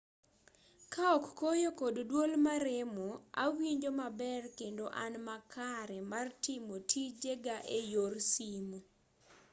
kaok koyo kod duol maremo awinjo maber kendo an makare mar timo tije ga eyor simu